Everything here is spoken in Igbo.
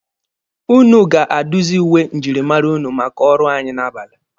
Ụnụ ga-aduzi uwe njirimara ụnụ maka ọrụ anyị n'abalị